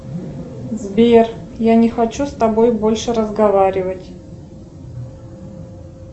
сбер я не хочу с тобой больше разговаривать